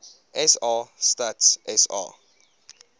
sa stats sa